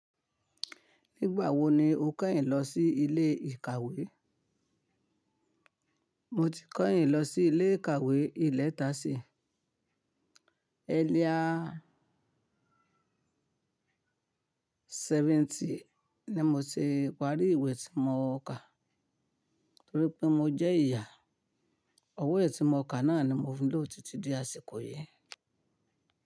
Nígbà wo ni o kẹ́yìn lọ sí ilé ìkàwé? Mo ti kẹ́yìn lọ sí ilé ìkàwé ìlẹ̀tẹ̀sí, ẹ̀arlier sẹ́vẹ́ntì ní mo ṣe wárí ìwé tí mo kà, torí pé mo jẹ́ ìyà. Ọwọ́ ìwé tí mo kà náà ni mo fi ń lò títí di àsìkò yìí.